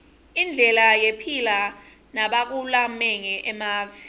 indlela yephila nabakulamange emave